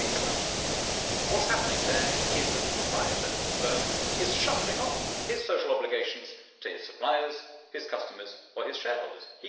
But if you think about it, what is happening there is that the proprietor of the firm is shuffling off his social obligations to his suppliers, his customers or his shareholders.